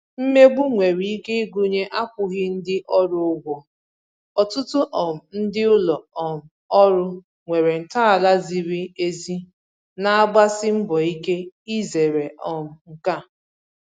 Mmegbu nwere ike ịgụnye akwụghị ndị orù ụ́gwọ̀, ọtụtụ um ndị ụlọ um òrụ́ nwere ntọala zìrì èzì na-agbàsì mbọ ike izèrè um nke a.